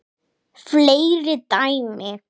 Fleiri dæmi